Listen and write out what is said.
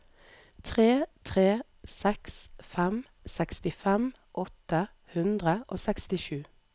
tre tre seks fem sekstifem åtte hundre og sekstisju